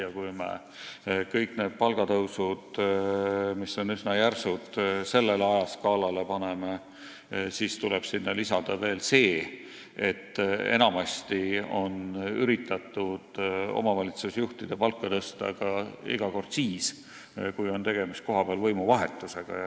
Ja kui me kõik need üsna järsud palgatõusud ajaskaalale paneme, siis tuleb sinna lisada veel see, et enamasti on üritatud omavalitsusjuhtide palka tõsta ka siis, kui on tegemist kohapealse võimuvahetusega.